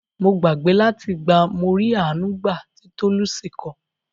Mo gbàgbé láti gba "Morí Àánú gbà" ti Tolucci ko.